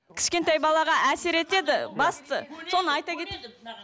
кішкентай балаға әсер етеді басты соны айта